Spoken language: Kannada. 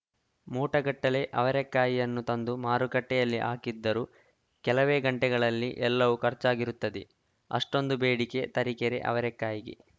ಮೂಟಗಟ್ಟಲೆ ಅವರೇಕಾಯಿಯನ್ನು ತಂದು ಮಾರುಕಟ್ಟೆಯಲ್ಲಿ ಹಾಕಿದ್ದರೂ ಕೆಲವೇ ಗಂಟೆಗಳಲ್ಲಿ ಎಲ್ಲವೂ ಖರ್ಚಾಗಿರುತ್ತದೆ ಅಷ್ಟೊಂದು ಬೇಡಿಕೆ ತರಿಕೆರೆ ಅವರೇಕಾಯಿಗೆ